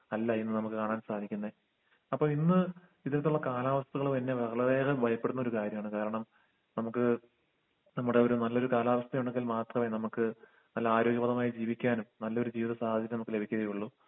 അല്ല ഇന്ന് നമ്മക്ക് കാണാൻ സാധിക്കുന്നെ അപ്പൊ ഇന്ന് ഇതെത്തുള്ള കാലാവസ്ഥകൾ തന്നെ വളരേയെറം ഭയപ്പെടുന്ന ഒരു കാര്യാണ് കാരണം നമ്മുക്ക് നമ്മുടൊരു നല്ലൊരു കാലാവസ്ഥയുണ്ടങ്കിൽ മാത്രേ നമ്മുക്ക് നല്ല ആരോഗ്യപതമായി ജീവിക്കാനും നല്ലൊരു ജീവിത സാധ്യത നമ്മുക്ക് ലഭിക്കുകയൊള്ളു